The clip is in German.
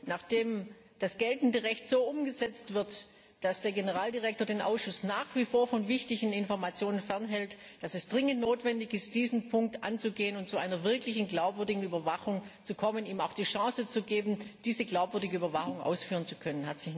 Nachdem das geltende Recht so umgesetzt wird, dass der Generaldirektor den Ausschuss nach wie vor von wichtigen Informationen fernhält, glaube ich, dass es dringend notwendig ist, diesen Punkt anzugehen und zu einer wirklich glaubwürdigen Überwachung zu kommen, ihm auch die Chance zu geben, diese glaubwürdige Überwachung ausführen zu können.